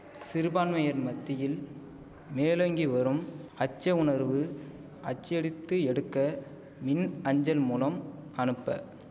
சிறுபான்மையர் மத்தியில் மேலோங்கிவரும் அச்ச உணர்வு அச்சடித்து எடுக்க மின் அஞ்சல் மூலம் அனுப்ப